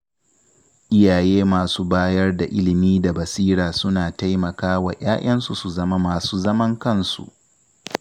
Iyaye masu bayar da ilimi da basira suna taimakawa ‘ya’yansu su zama masu zaman kansu.